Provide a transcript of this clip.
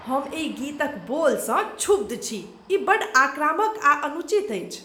हम एहि गीतक बोलसँ क्षुब्ध छी। ई बड्ड आक्रामक आ अनुचित अछि।